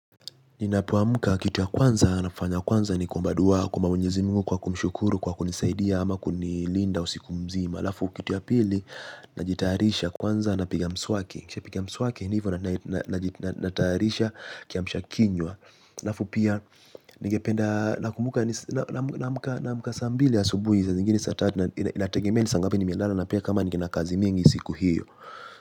Ninapoamka kitu ya kwanza nafanya kwanza ni kuomba dua kwa Mwenyezi Mungu kwa kumshukuru kwa kunisidia ama kunilinda usiku mzima alafu kitu ya pili najitayarisha kwanza napiga mswaki. Nikishapiga mswaki ni hivyo na natayarisha kiamsha kinywa. Alafu pia ningependa nakumbuka naamka saa mbili saa zingine saa tatu inategemea ni saa ngapi nimelala na pia kama ningeenda kazi mingi siku hiyo.